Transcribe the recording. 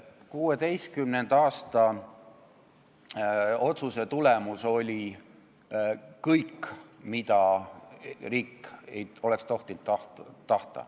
2016. aasta otsuse tulemus oli läbinisti sellline, mida riik ei oleks tohtinud tahta.